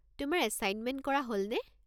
তোমাৰ এছাইনমেণ্ট কৰা হ'লনে?